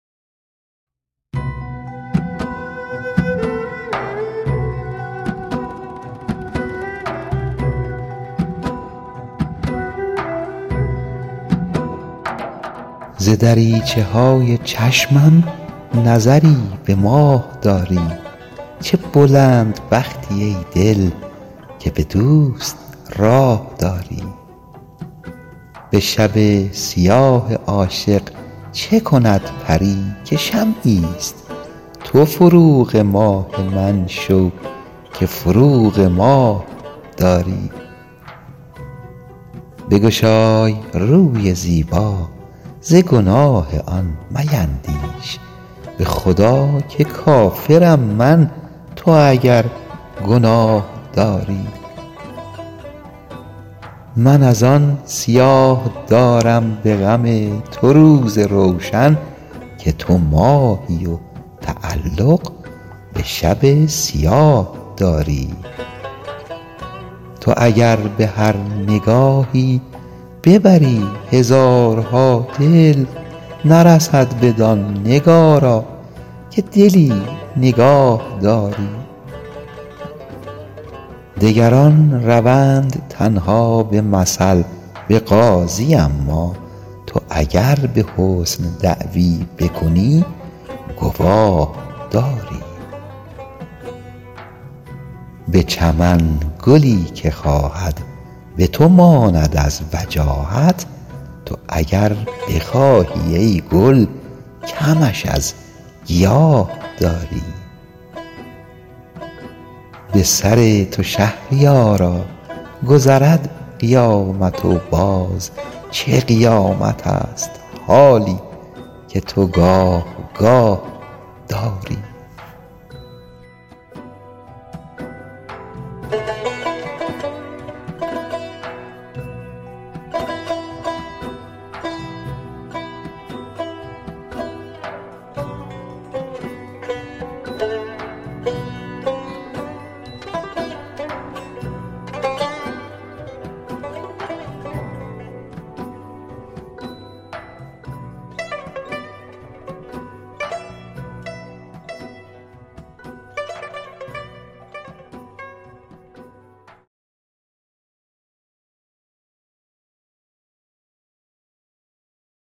ز دریچه های چشمم نظری به ماه داری چه بلند بختی ای دل که به دوست راه داری به شب سیاه عاشق چه کند پری که شمعی است تو فروغ ماه من شو که فروغ ماه داری بگشای روی زیبا ز گناه آن میندیش به خدا که کافرم من تو اگر گناه داری من از آن سیاه دارم به غم تو روز روشن که تو ماهی و تعلق به شب سیاه داری تو اگر به هر نگاهی ببری هزارها دل نرسد بدان نگارا که دلی نگاهداری نفس علیل پیران تب لازم آورد هان تو چه لازم این جوانی به تبی تباه داری تو که چون منیژه گیسو بودت کمند رستم ز چه ماه من چو بیژن خود اسیر چاه داری تو به هر گدا میامیز و شکوه حسن مشکن که لیاقت تشرف به حضور شاه داری برو و به دلبری کو ملکه است در وجاهت بگذر که ماه رویش به محاق آه داری دگران روند تنها به مثل به قاضی اما تو اگر به حسن دعوی بکنی گواه داری به چمن گلی که خواهد به تو ماند از وجاهت تو اگر بخواهی ای گل کمش از گیاه داری دگران به نرد عشقت به هوای بوسه تازند تو چرا هوای بازی سر دل بخواه داری به سر تو شهریارا گذرد قیامت و باز چه قیامتست حالی که تو گاه گاه داری